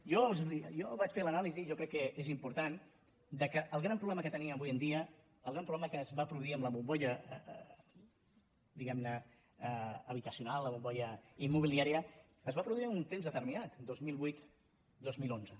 jo vaig fer ne l’anàlisi jo crec que és important que el gran problema que tenim avui en dia el gran problema que es va produir amb la bombolla diguem ne habitacional la bombolla immobiliària es va produir en un temps determinat dos mil vuit dos mil onze